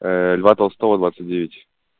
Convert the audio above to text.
льва толстого двадцать девять